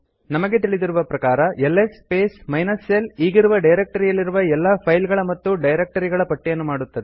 ನಮಗೆ ತಿಳಿದಿರುವ ಪ್ರಕಾರ ಎಲ್ಎಸ್ ಸ್ಪೇಸ್ ಮೈನಸ್ l ಈಗಿರುವ ಡೈರೆಕ್ಟ್ ರಿಯಲ್ಲಿರುವ ಎಲ್ಲಾ ಫೈಲ್ಸ್ ಗಳ ಮತ್ತು ಡೈರೆಕ್ಟ್ ರಿಗಳ ಪಟ್ಟಿಯನ್ನು ಮಾಡುತ್ತದೆ